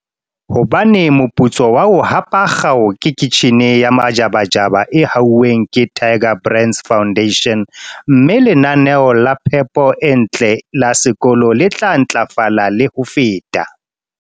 Hobane moputso wa ho hapa kgao ke kitjhine ya majabajaba e hauweng ke Tiger Brands Foundation, mme lenaneo la phepo e ntle la sekolo le tla ntlafala le ho feta.